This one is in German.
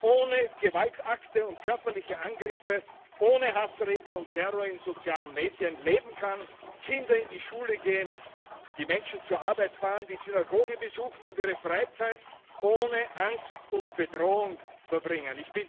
ohne Gewaltakte und körperliche Angriffe, ohne Hassreden und Terror in sozialen Medien leben kann, Kinder in die Schule gehen, die Menschen zur Arbeit fahren, die Synagoge besuchen und ihre Freizeit ohne Angst und Bedrohung verbringen.